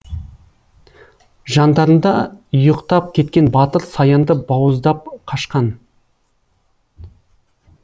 жандарында ұйықтап кеткен батыр саянды бауыздап қашқан